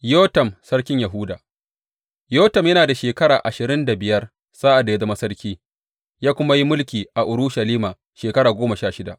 Yotam sarkin Yahuda Yotam yana da shekara ashirin da biyar sa’ad da ya zama sarki, ya kuma yi mulki a Urushalima shekara goma sha shida.